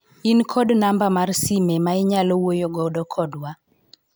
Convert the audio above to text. in kod namba mar sime ma inyalo wuoyo godo kodwa ?